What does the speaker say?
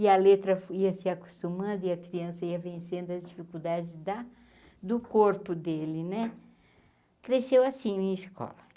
e a letra ia se acostumando e a criança ia vencendo as dificuldades da do corpo dele né, cresceu assim minha escola.